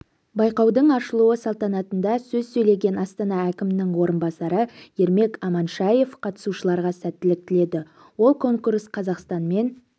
байқаудың ашылу салтанатында сөз сөйлеген астана әкімінің орынбасары ермек аманшаев қатысушыларға сәттілік тіледі ол конкурс қазақстанмен